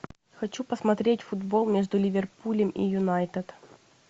хочу посмотреть футбол между ливерпулем и юнайтед